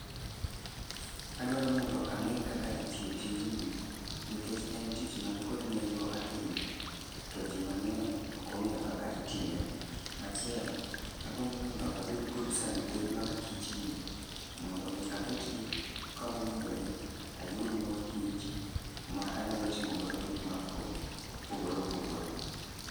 Adwaro mondo ang'e kaka itiyo tijni nikech en tich man kod nengo ahinya, to ji mang'eny okong'eyo kaka itime. Machielo, agombo mondo abed kod sanduge mag kich gi, mondo mi aketgi kamowinjore ayud mor kich ma anyalo timogodo gik ma o opogore opogore.